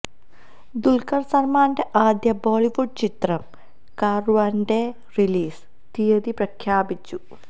ദുല്ഖര് സല്മാന്റെ ആദ്യ ബോളിവുഡ് ചിത്രം കാര്വാന്റെ റിലീസ് തീയതി പ്രഖ്യാപിച്ചു